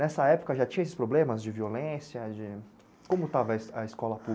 Nessa época já tinha esses problemas de violência, de... Como estava a escola pública?